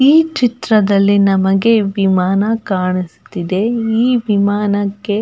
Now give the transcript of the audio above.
ಈ ಚಿತ್ರದಲ್ಲಿ ನಮಗೆ ವಿಮಾನ ಕಾಣುತ್ತಿದೆ ಈ ವಿಮಾನಕ್ಕೆ.